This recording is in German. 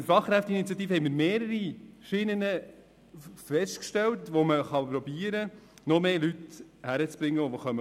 Mit der Fachkräfteinitiative wurden mehrere Schienen festgestellt, mit denen man versuchen kann, noch mehr Fachkräfte zum Arbeiten zu bewegen.